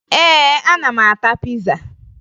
Ee, ana m ata piza